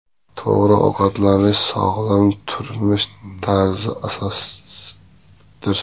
To‘g‘ri ovqatlanish – sog‘lom turmush tarzi asosidir.